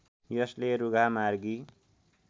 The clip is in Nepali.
यसले रुघामार्गी